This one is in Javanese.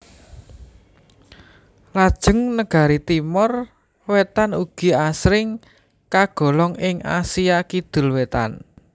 Lajeng negari Timor Wétan ugi asring kagolong ing Asia Kidul Wétan